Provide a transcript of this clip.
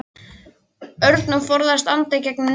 Örn og forðaðist að anda í gegnum nefið.